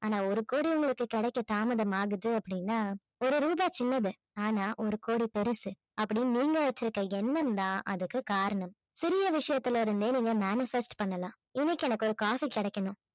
ஆனா ஒரு கோடி உங்களுக்கு கிடைக்க தாமதமாகுது அப்படின்னா ஒரு ரூபா சின்னது ஆனால் ஒரு கோடி பெருசு அப்படின்னு நீங்க வச்சிருக்கிற எண்ணம் தான் அதற்கு காரணம். சிறிய விஷயத்தில இருந்தே நீங்க manifest பண்ணலாம் இன்னிக்கி எனக்கு ஒரு காசு கிடைக்கணும்